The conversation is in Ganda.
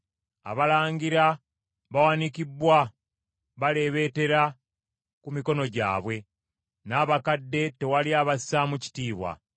Abalangira bawanikibbwa baleebeetera ku mikono gyabwe n’abakadde tewali abassaamu kitiibwa.